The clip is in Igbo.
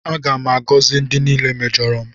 Aga m agọzi ndị niile mejọrọ m.